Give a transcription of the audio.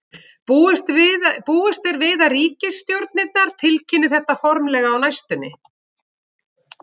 Búist er við að ríkisstjórnirnar tilkynni þetta formlega á næstunni.